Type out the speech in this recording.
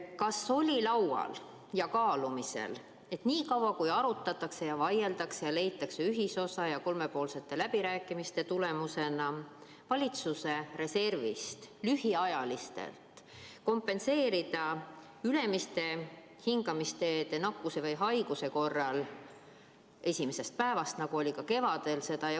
Kas oli laual ja kaalumisel, et nii kaua, kuni arutatakse ja vaieldakse ja leitakse kolmepoolsete läbirääkimiste tulemusena ühiselt võimalus valitsuse reservist lühiajaliselt kompenseerida ülemiste hingamisteede nakkuse või haiguse korral töötasu esimesest päevast alates, nagu oli ka kevadel?